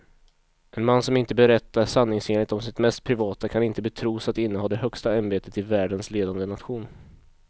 En man som inte berättar sanningsenligt om sitt mest privata kan inte betros att inneha det högsta ämbetet i världens ledande nation.